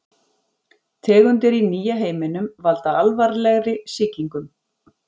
Tegundir í nýja heiminum valda alvarlegri sýkingum.